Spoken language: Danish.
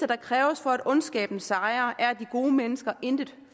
der kræves for at ondskaben sejrer er at de gode mennesker intet